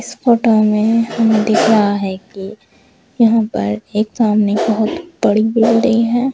इस फोटो में दिख रहा है कि यहां पर एक सामने बहोत बड़ी बिल्डिंग है।